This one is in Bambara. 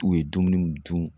U ye dumuniw dun.